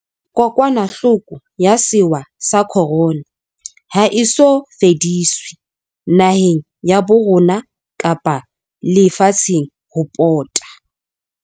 Kokwanahloko ya sewa sa Corona ha e so fediswe, naheng ya bo rona kapa le fatsheng ho pota.